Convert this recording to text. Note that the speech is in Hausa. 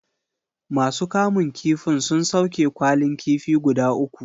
Ma su kamun kifin sun sauke kwalin kifi guda uku